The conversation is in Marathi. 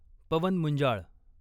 पवन मुंजाळ